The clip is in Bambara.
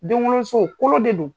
Denwoloso, kolo de don.